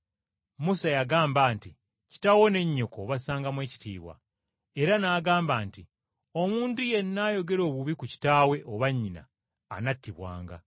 Musa yagamba nti, ‘Kitaawo ne nnyoko obassangamu ekitiibwa.’ Era n’agamba nti, ‘Omuntu yenna ayogera obubi ku kitaawe oba nnyina anattibwanga.’